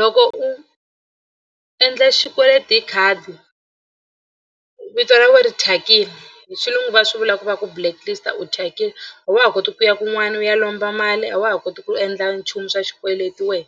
Loko u endla xikweleti hi khadi vito ra wena ri thyakile hi xilungu va swi vula ku va ku blacklist u thyakile a wa ha koti ku ya kun'wana u ya lomba mali a wa ha koti ku endla nchumu swa xikweleti we